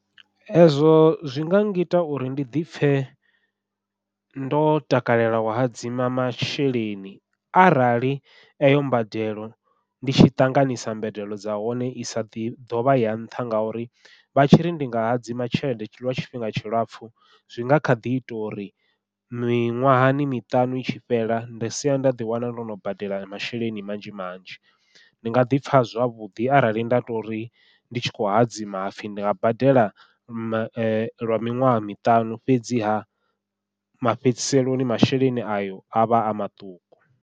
Ezwo zwi nga ngita uri ndi ḓipfhe ndo takalela u hadzima masheleni, arali eyo mbadelo ndi tshi ṱanganisa mbadelo dza hone i sa ḓi ḓovha ya nṱha ngauri vha tshi ri ndi nga hadzima tshelede lwa tshifhinga tshilapfhu, zwi nga kha ḓi ita uri miṅwahani miṱanu i tshi fhela nda sia nda ḓiwana ndo no badela masheleni manzhi manzhi. Ndi nga ḓipfha zwavhuḓi arali nda tori ndi tshi khou hadzima hapfhi ndi nga badela ma lwa miṅwaha miṱanu fhedziha mafhedziseloni masheleni ayo avha a maṱuku.